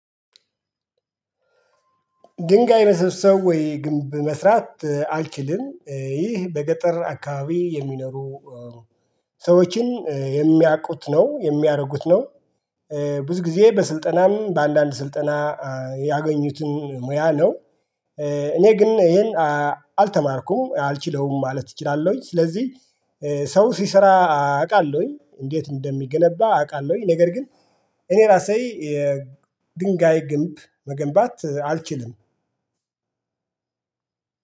ድንጋይ መሰብሰብ ወይ ግንብ መስራት አልችልም ይህ በገጠር አካባቢ የሚኖሩ ሰዎችን የሚያቁት ነው የሚያረጉት ነው። ብዙ ጊዜ በስልጠናም በአንዳንድ ስልጠና ያገኙትን ሙያ ነው። እኔ ግን ይሄን አልተማርኩም አልችለውም ማለት እችላለሁኝ ስለዚህ። ሰው ሲሰራ አቃለውኝ እንዴት እንደሚገነባ አቃለውኝ። ነገር ግን እኔ ራሴ የድንጋይ ግንብ መገንባት አልችልም።